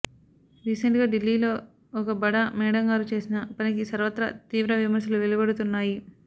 recent గా ఢిల్లీలో ఒక బడా మేడంగారు చేసిన పనికి సర్వత్రా తీవ్ర విమర్శలు వెలువడుతున్నాయి